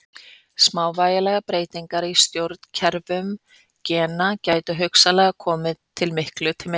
Smávægilegar breytingar í stjórnkerfum gena gætu hugsanlega hafa komið miklu til leiðar.